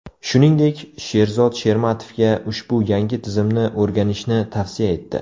Shuningdek, Sherzod Shermatovga ushbu yangi tizimni o‘rganishni tavsiya etdi.